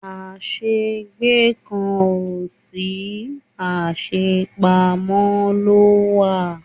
a se gbe kan o si, a se pamo lo wa